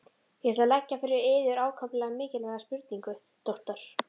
Ég ætla að leggja fyrir yður ákaflega mikilvæga spurningu, doktor.